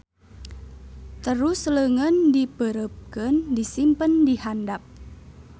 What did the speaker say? Terus leungeun dipeureupkeun disimpen dihandap.